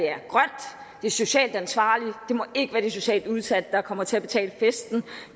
det er socialt ansvarligt det må ikke være de socialt udsatte der kommer til at betale festen